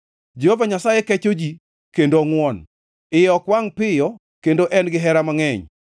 Jehova Nyasaye kecho ji kendo ongʼwon, iye ok wangʼ piyo kendo en gihera mangʼeny.